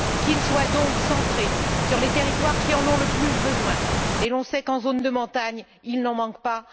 Qu'il soit donc centré sur les territoires qui en ont le plus besoin Et l'on sait qu'en zone de montagnes, il n'en manque pas